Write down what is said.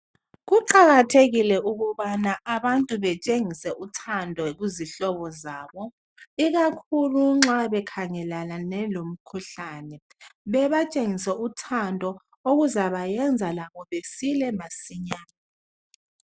Kuqakathekile ukubana abantu betshengise uthando kuzihlobo zabo ikakhulu nxa bengelane lomkhuhlane bebatshengise uthando okuzabenza labo besile masinyane